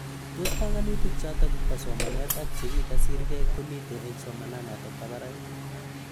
Tos panganutik chotok ba somanet ak cheki kasirkei komitei eng somanatok ba barak.